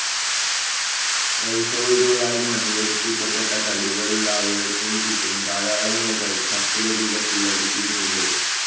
റൈസോയിടുകളാൽ മണ്ണിലുറപ്പിക്കപ്പെട്ട തടിപോലുള്ള അവയവത്തിനു ചുറ്റും ധാരാളം ഇലകൾ സർപ്പില രൂപത്തിൽ അടുക്കിയിട്ടുണ്ട്.